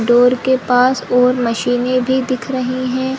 Door के पास और मशीने भी दिख रही है।